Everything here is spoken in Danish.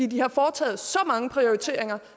de har foretaget så mange prioriteringer